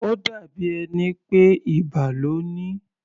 Ó dàbí ẹni pé ibà lo ní.